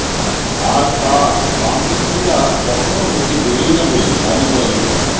আর তা বামপন্থীরা কখনও হতে দেবেন না বলে দাবি করেন তিনি